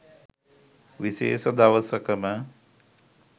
විශේෂ දවසකම